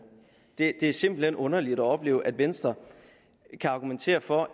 det er simpelt hen underligt at opleve at venstre kan argumentere for